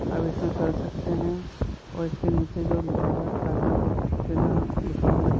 अब इसमें कह सकते हैं और इसके नीचे जो लिखा हुआ है खाता बुक के नाम लिखा हुआ है।